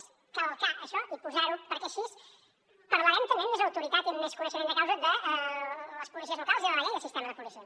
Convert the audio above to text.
és calcar això i posar ho perquè així parlarem també amb més autoritat i amb més coneixement de causa de les policies locals i de la llei de sistema de policies